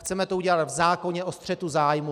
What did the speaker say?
Chceme to udělat v zákoně o střetu zájmů.